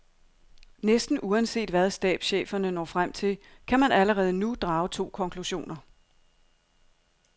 Næsten uanset hvad stabscheferne når frem til, kan man allerede nu drage to konklusioner.